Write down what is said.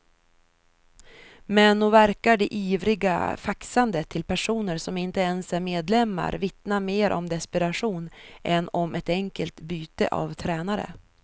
Men nog verkar det ivriga faxandet till personer som inte ens är medlemmar vittna mer om desperation än om ett enkelt byte av tränare.